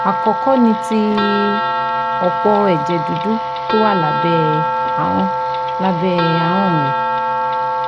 Àkọ́kọ́ ni ti òpó ẹ̀jẹ̀ dúdú tó wà lábẹ́ ahọ́n lábẹ́ ahọ́n rẹ